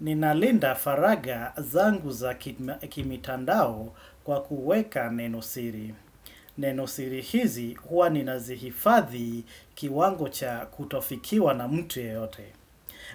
Ninalinda faraga zangu za kimitandao kwa kuweka nenosiri. Nenosiri hizi huwa ninazihifadhi kiwango cha kutofikiwa na mtu yeyote.